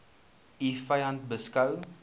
u vyand beskou